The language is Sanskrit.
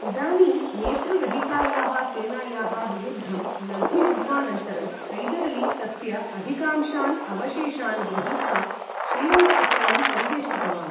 इदानीं नेतृरहितायाः सेनायाः विरुद्धं लघुयुद्धानन्तरं, हैदर् अली तस्य अधिकांशान् अवशेषान् गृहीत्वा, श्रीरङ्गपत्तनं परिवेष्टितवान्।